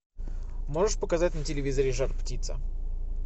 можешь показать на телевизоре жар птица